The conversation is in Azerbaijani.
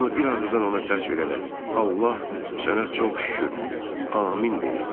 Hamı bir ağızdan ona səs verərək "Allah sənə çox şükür! Amin" deyirdi.